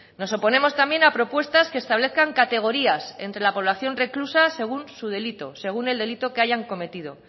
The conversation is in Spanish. nos oponemos también a propuestas que establezcan categorías entre la población reclusa según su delito según el delito que hayan cometido